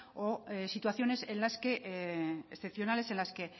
o situaciones excepcionales en las que